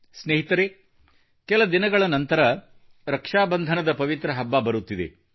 ಸ್ನೇಹಿತರೆ ಕೆಲ ದಿನಗಳ ನಂತರ ರಕ್ಷಾ ಬಂಧನದ ಪವಿತ್ರ ಹಬ್ಬ ಬರುತ್ತಿದೆ